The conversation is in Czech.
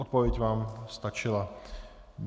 Odpověď vám stačila.